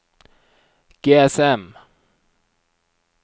GSM